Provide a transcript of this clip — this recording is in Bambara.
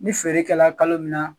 Ni feerekɛla kalo min na.